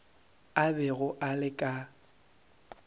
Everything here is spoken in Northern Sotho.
a bego a le ka